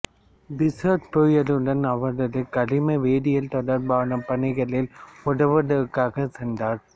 பிசர் பேயருடன் அவரது கரிம வேதியியல் தொடர்பான பணிகளில் உதவுவதற்காக சென்றார்